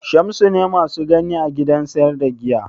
Shamsu ne mu ka gani a gidan sayar da giya?